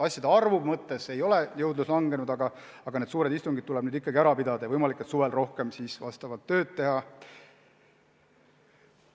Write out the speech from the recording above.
Asjade arvu mõttes ei ole jõudlus langenud, aga need suured istungid tuleb nüüd ikkagi ära pidada ja võimalik, et suvel lihtsalt rohkem tööd teha.